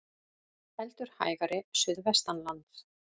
Heldur hægari suðvestanlands